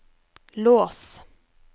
lås